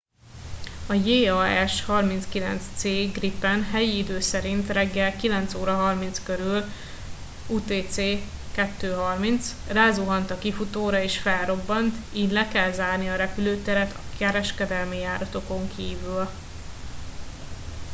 a jas 39c gripen helyi idő szerint reggel 9:30 körül utc 02:30 rázuhant a kifutóra és felrobbant így le kellett zárni a repülőteret a kereskedelmi járatokon kívül